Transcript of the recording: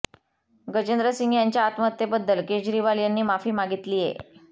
गजेंद्र सिंग यांच्या आत्महत्येबद्दल केजरीवाल यांनी माफी मागितलीये